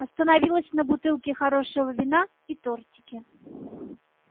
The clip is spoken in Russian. остановилась на бутылке хорошего вина и тортике